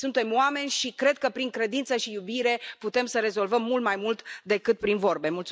Suntem oameni și cred că prin credință și iubire putem să rezolvăm mult mai mult decât prin vorbe.